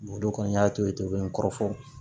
Dɔ kɔni y'a to ye ten n kɔrɔ fɔ